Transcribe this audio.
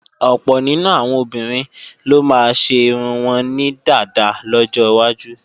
Ọ̀pọ̀ nínú àwọn obìnrin ló máa ṣe irun wọn ní dàda lọ́jọwájú